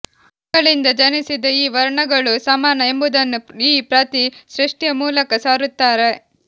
ಅವುಗಳಿಂದ ಜನಿಸಿದ ಈ ವರ್ಣಗಳೂ ಸಮಾನ ಎಂಬುದನ್ನು ಈ ಪ್ರತಿ ಸೃಷ್ಠಿಯ ಮೂಲಕ ಸಾರುತ್ತಾರೆ